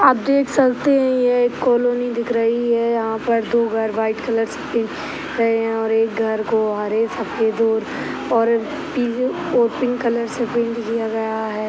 आप देख सकते है ये एक कॉलोनी दिख रही है यहाँ पर दो घर वाइट कलर से पेंट किए गए हैं और एक घर को हरे सफ़ेद और पीले और पिंक कलर से पेंट किया गया है।